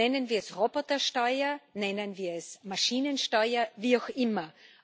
Nennen wir es Robotersteuer, nennen wir es Maschinensteuer wie auch immer.